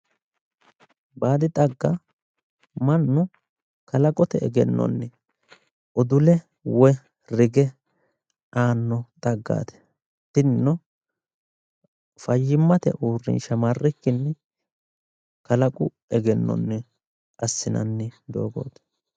Baadi xagga mannu kalaqote egennoni udulle woyi rigge aano xaggati ,tinino faayyimate uurrinsha marrikkinni kalaqu egennonni afi'nanni doogoti